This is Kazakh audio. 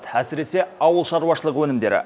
әсіресе ауыл шаруышылық өнімдері